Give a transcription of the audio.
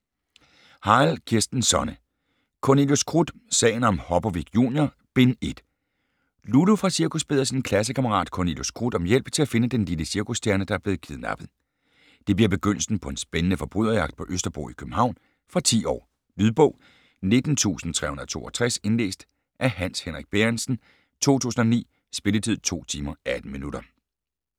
Harild, Kirsten Sonne: Cornelius Krut: Sagen om Hopovic Junior: Bind 1 Lulu fra cirkus beder sin klassekammerat Cornelius Krut om hjælp til at finde den lille cirkusstjerne der er blevet kidnappet. Det bliver begyndelsen på en spændende forbryderjagt på Østerbro i København. Fra 10 år. Lydbog 19362 Indlæst af Hans Henrik Bærentsen, 2009. Spilletid: 2 timer, 18 minutter.